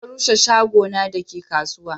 za a rushe shago na da ke kasuwa